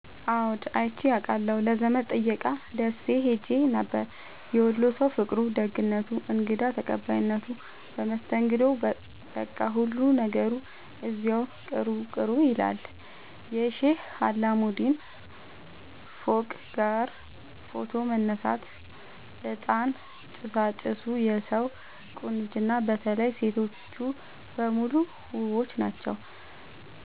አዎድ አይቼ አቃለሁ ለዘመድ ጥየቃ ደሴ ኸሄ ነበር። የወሎ ሠዉ ፍቅሩ፣ ደግነቱ፣ እንግዳ ተቀባይነቱ መስተንግዶዉ በቃ ሁሉ ነገሩ እዚያዉ ቅሩ ቅሩ ይላል። የሼህ አላሙዲን ፎቅጋ ፎቶ መነሳት፤ እጣን ጭሣጭሡ የሠዉ ቁንጅና በተለይ ሤቶቹ በሙሉ ዉቦች ናቸዉ።